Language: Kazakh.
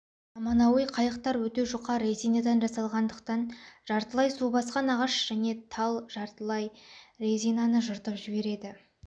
заманауи қайықтар өте жүқа резинадан жасалғандықтан жартылай су басқан ағаш және тал резинаны жыртып жібереді